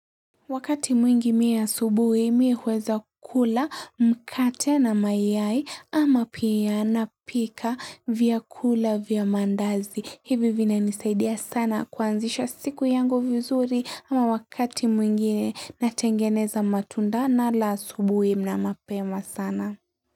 Wakati mwingi mii asubuhi mii uweza kula mkate na mayai ama pia napika vyakula vya maandazi. Hivi vinanisaidia sana kuanzisha siku yangu vizuri ama wakati mwingine natengeneza matunda nala asubuhi na mapema sana.